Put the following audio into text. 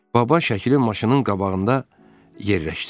Baba şəkili maşının qabağında yerləşdirdi.